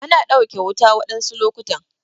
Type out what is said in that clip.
Ana ɗauke wuta waɗansu lokutan.